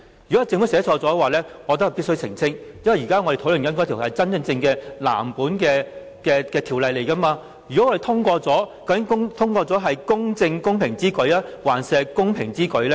如果是政府寫錯了，我認為必須澄清，因為我們現在討論的是真正的藍紙條例草案，一旦《道歉條例草案》獲得通過，究竟通過的版本，是"公正公平之舉"，還是"公平之舉"呢？